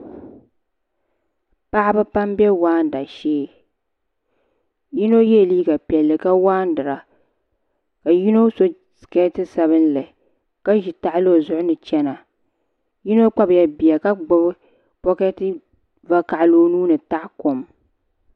paɣiba pam m-be waana shee yino yela liiga piɛlli ka waandira ka yino so sikeeti sabinli ka ʒi tahili o zuɣu ni chana yino kpabila bia ka gbibi bɔketi vakahili o nua ni taɣi kom